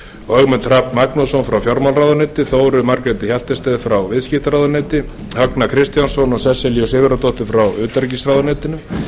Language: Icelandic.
og ögmund hrafn magnússon frá fjármálaráðuneyti þóru margréti hjaltested frá viðskiptaráðuneyti högna s kristjánsson og sesselju sigurðardóttur frá utanríkisráðuneyti